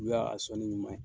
U y'a sɔnɔni ɲuman ye.